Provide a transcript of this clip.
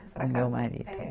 O meu marido? É